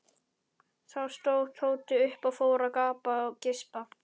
Þá stóð Tóti upp og fór að gapa og geispa.